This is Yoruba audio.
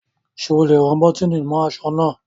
Sé ẹ lè rán bọ́tìnì mọ́ aṣọ náà?